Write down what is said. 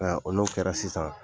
Nka o n'o kɛra sisan